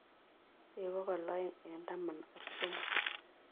Pchei bogol oeng' eng'taman ak somok